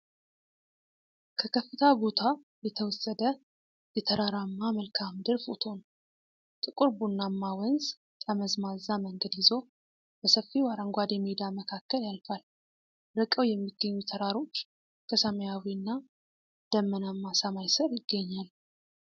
ከከፍታ ቦታ የተወሰደ የተራራማ መልክዓ ምድር ፎቶ ነው። ጥቁር ቡናማ ወንዝ ጠመዝማዛ መንገድ ይዞ በሰፊው አረንጓዴ ሜዳ መካከል ያልፋል። ርቀው የሚገኙ ተራሮች ከሰማያዊና ደመናማ ሰማይ ስር ይገኛሉ።